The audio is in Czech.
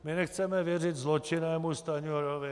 My nechceme věřit zločinnému Stanjurovi.